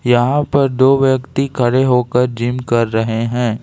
यहां पर दो व्यक्ति खड़े होकर जिम कर रहे हैं।